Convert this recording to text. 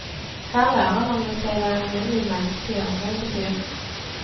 Her lærer han jo seg hva alminnelig menneskelig omgang betyr.